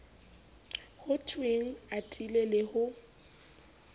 ho thwenge atile le ho